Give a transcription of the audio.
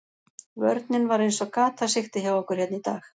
Vörnin var eins og gatasigti hjá okkur hérna í dag.